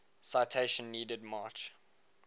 citation needed march